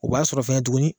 O b'a sɔrɔ fɛnɛ tuguni